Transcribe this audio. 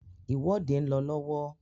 ìwọ́de ń lọ lọ́wọ́.